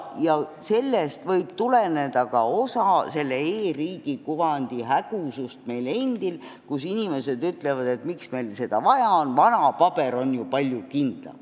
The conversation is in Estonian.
Sellest võib tuleneda ka e-riigi kuvandi hägusus meie endi seas, sest inimesed küsivad, miks meile seda vaja on, ja ütlevad, et vana paber on ju palju kindlam.